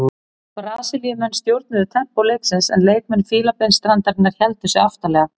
Brasilíumenn stjórnuðu tempó leiksins en leikmenn Fílabeinsstrandarinnar héldu sig aftarlega.